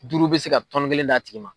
Duuru bɛ se ka tɔni kelen d'a tigi ma.